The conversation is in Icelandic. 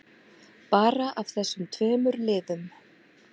Bara af þessum tveimur liðum.